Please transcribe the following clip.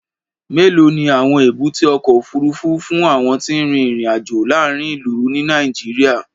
Mélòó ni àwọn èbúté ọkọ̀ òfuurufú fún àwọn tí ń rin ìrìn-àjò láàárín ìlú, ní Nàìjíríà?